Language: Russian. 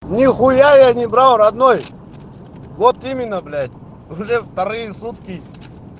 нехуя не брал родной вот именно блять уже вторые сутки